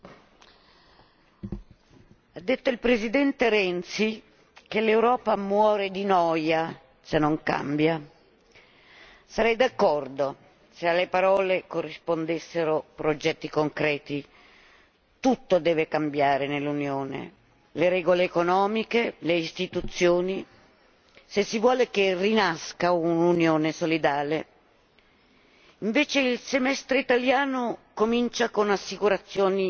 Signor Presidente, onorevoli colleghi, ha detto il Presidente Renzi che l'Europa muore di noia se non cambia. Sarei d'accordo se alle parole corrispondessero progetti concreti. Tutto deve cambiare nell'Unione le regole economiche, le istituzioni se si vuole che rinasca un'Unione solidale. Invece il Semestre italiano comincia con assicurazioni